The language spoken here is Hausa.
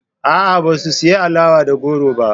A'a, ba su siyi alawa da goron ba.